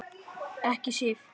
Ekki Sif.